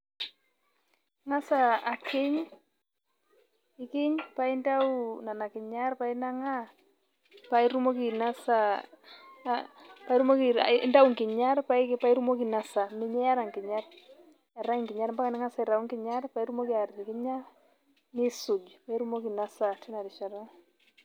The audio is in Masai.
Ing'as akiny, nikiny paintayu nena kinyat paa inang'aa paa itumoki ainosa paa intia inasaa miata nkinyat ning'as aitayu enkinyat nisuj paa itumoki ainosa teina rishata .